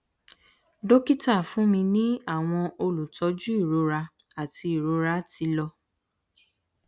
dokita fun mi ni awọn olutọju irora ati irora ti lọ